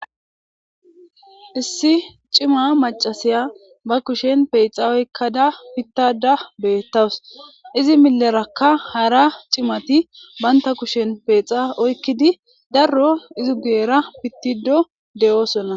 issi cima macasiya ba kushen peexa oykkada pittada beettawus izi milerakka hara cimati baynta kushen peexa oykkidi darro izu geera pittido de7oosona